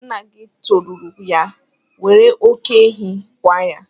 Nna gị toruru ya, were oké ehi kwaa ya!